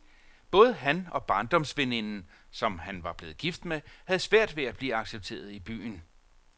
Både han og barndomsveninden, som han var blevet gift med, havde svært ved at blive accepteret i byen.